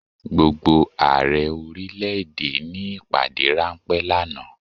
Gbogbo Ààrẹ orílẹ̀ èdè ní ìpàdé ráńpẹ́ lánàá.